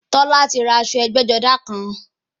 Tọ́lá ti ra aṣọ ẹgbẹ́-jọdá kan.